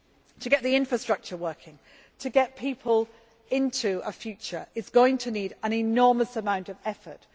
reach. To get the infrastructure working and to get people into a future is going to need an enormous amount of effort.